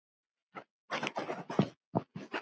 Jú, það varst þú.